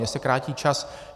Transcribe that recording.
Mně se krátí čas.